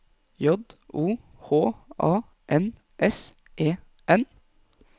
J O H A N S E N